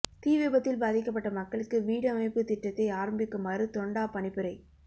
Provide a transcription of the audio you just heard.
தீ விபத்தில் பாதிக்கப்பட்ட மக்களுக்கு வீடமைப்பு திட்டத்தை ஆரம்பிக்குமாறு தொண்டா பணிப்புரை